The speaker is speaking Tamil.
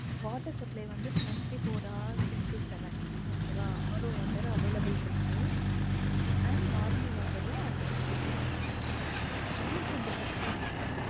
Water supply வந்து twenty four hours into seven okay வா அவ்வளவு பேரு available இருக்கு and normal water ல அந்த facilities இருக்கு தண்ணிக்கு என்த பிரச்சனையும் இல்ல mam